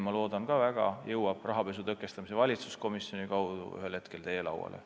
Loodan väga, et see jõuab rahapesu tõkestamise valitsuskomisjoni kaudu ühel hetkel teie lauale.